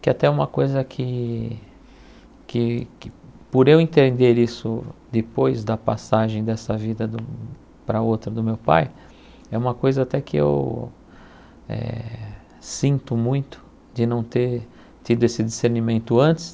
que até é uma coisa que que que, por eu entender isso depois da passagem dessa vida para outra do meu pai, é uma coisa até que eu eh sinto muito de não ter tido esse discernimento antes.